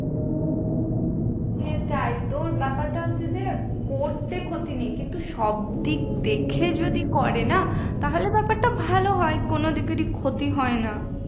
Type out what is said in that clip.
তে তাইতো ব্যাপারটা হচ্ছে যে করতে ক্ষতি নেই কিন্তু সবদিক দেখে যদি করে না তাহলে ব্যাপারটা ভালো হয় কোনো দিকেরই ক্ষতি হয় না